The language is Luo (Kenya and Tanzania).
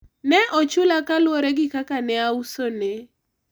ne ochula kaluwore gi kaka ne ausone